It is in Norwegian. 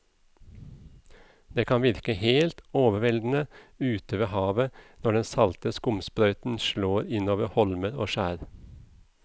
Det kan virke helt overveldende ute ved havet når den salte skumsprøyten slår innover holmer og skjær.